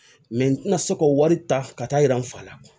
n tɛna se k'o wari ta ka taa yira n fa la